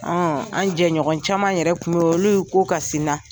Ɔn an jɛ ɲɔgɔn caman yɛrɛ ko kasila.